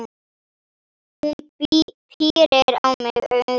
Hún pírir á mig augun.